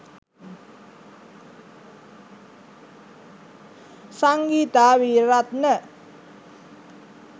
sangeetha weerarathna